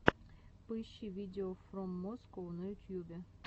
поищи видеофроммоскоу на ютьюбе